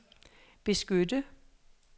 beskytte